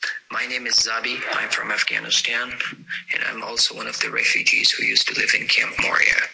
My name is Zabi I'm from Afghanistan and I'm also one of the refugees who used to live in Camp Moria.